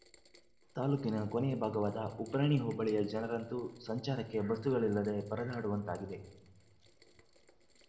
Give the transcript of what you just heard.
ತಾಲೂಕಿನ ಕೊನೆಯ ಭಾಗವಾದ ಉಬ್ರಾಣಿ ಹೋಬಳಿಯ ಜನರಂತೂ ಸಂಚಾರಕ್ಕೆ ಬಸ್ಸುಗಳಿಲ್ಲದೆ ಪರದಾಡುವಂತಾಗಿದೆ